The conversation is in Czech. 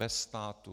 Bez státu.